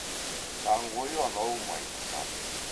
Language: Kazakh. даңғойы анау майбасар